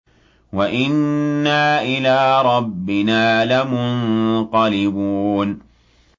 وَإِنَّا إِلَىٰ رَبِّنَا لَمُنقَلِبُونَ